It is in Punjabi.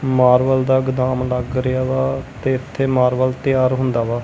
ਮਾਰਬਲ ਦਾ ਗਦਾਮ ਲੱਗ ਰਿਹਾ ਵਾ ਤੇ ਇਥੇ ਮਾਰਬਲ ਤਿਆਰ ਹੁੰਦਾ ਵਾ।